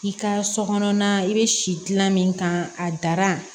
I ka so kɔnɔna i bɛ si gilan min kan a dara